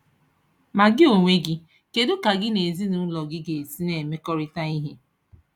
Ma gị onwe gị, kedu ka gị na ezinụlọ gị ga-esi na-emekọrịta ihe?